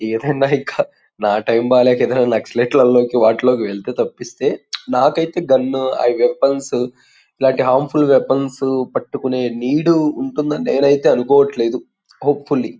నా టైం బాలేక ఏదైనా నక్సలైట్లు లోకి వాటిలోకి వెళ్తే తప్పిస్తే నాకైతే గన్ ఆ వెపన్స్ ఇలాంటి హాం ఫుల్ వెపన్స్ పట్టుకునే నీడ్ ఉంటుందని నేనైతే అనుకోవట్లేదు హోప్ ఫుల్లీ .